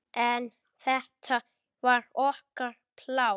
En þetta var okkar pláss.